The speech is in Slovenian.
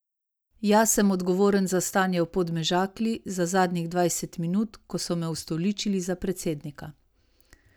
Jaz sem odgovoren za stanje v Podmežakli za zadnjih dvajset minut, ko so me ustoličili za predsednika.